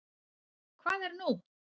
Hvað er nú?